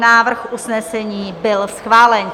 Návrh usnesení byl schválen.